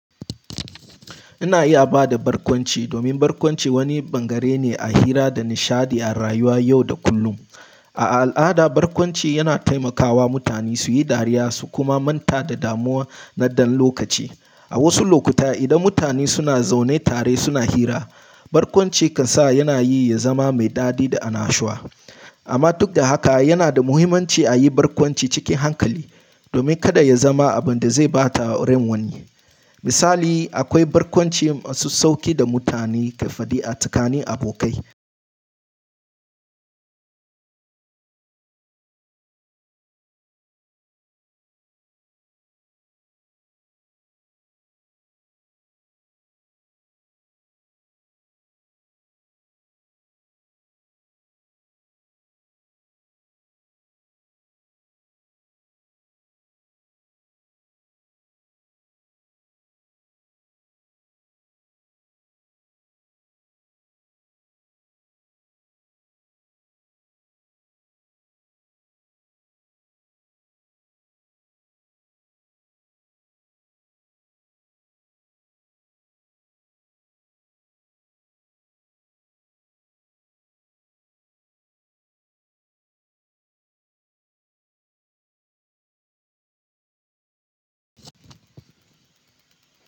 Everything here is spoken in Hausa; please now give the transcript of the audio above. Ina iya ba da barkwanci domin barkwanci wani bangare ne a hira da nishaɗi a rayuwa yau da kullum. A al'ada, barkwanci yana taimakawa mutane su yi dariya su kuma manta da damuwa na ɗan lokaci. A wasu lokuta, idan mutane suna zaune tare suna hira, barkwanci kan sa yana yi ya zama mai daɗi da anashuwa. Amma duk da haka, yana da muhimmanci a yi barkwanci cikin hankali domin kada ya zama abin da zai bata rain wani. Misali, akwai barkwanci masu sauƙi da mutane ke faɗi a tsakanin abokai.